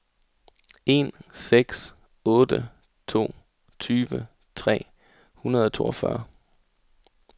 en seks otte to tyve tre hundrede og toogfyrre